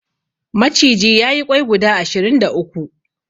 Maciji ya yi ƙwai guda ashirin da uku.